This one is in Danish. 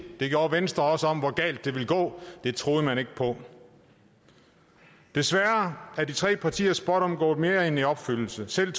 det gjorde venstre også om hvor galt det ville gå det troede man ikke på desværre er de tre partiers spådomme gået mere end i opfyldelse selv